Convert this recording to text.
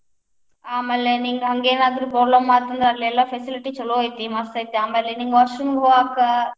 ಆಮೇಲೆ ನಿಂಗ್ ಹಂಗೇನಾದ್ರೂ problem ಆತ್ ಅಂದ್ರ ಅಲ್ಲೆಲ್ಲಾ facility ಚುಲೊ ಐತಿ, ಮಸ್ತ್ ಐತಿ ಆಮೇಲೆ ನಿಂಗ್ washroom ಹೋಗಾಕ.